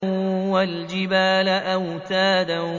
وَالْجِبَالَ أَوْتَادًا